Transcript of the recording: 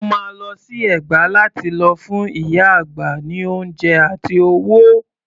Mo máa lọ sí Ẹ̀gbá lá ti lọ fún ìyá àgbà ní oúnjẹ àti owó.